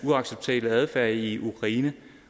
uacceptable adfærd i ukraine